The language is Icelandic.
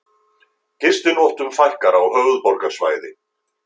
Gistinóttum fækkar á höfuðborgarsvæði